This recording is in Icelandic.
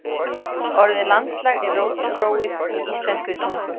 Orðið landslag er rótgróið í íslenskri tungu.